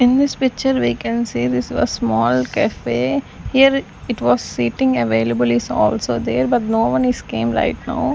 In this picture we can see this was small café here it was sitting available is also there but no one is came right now.